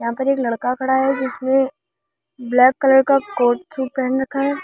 यहां पर एक लड़का खड़ा है जिसने ब्लैक कलर का कोट सूट पहन रखा है।